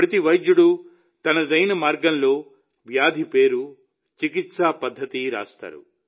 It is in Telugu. ప్రతి వైద్యుడు తనదైన మార్గంలో వ్యాధి పేరు చికిత్స పద్ధతులను రాస్తారు